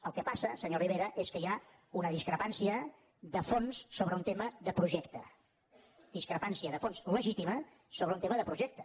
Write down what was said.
el que passa senyor rivera és que hi ha una discrepància de fons sobre un tema de projecte discrepància de fons legítima sobre un tema de projecte